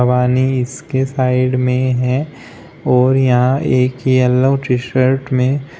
पानी इसके साइड में है और यहां एक येलो टी शर्ट में--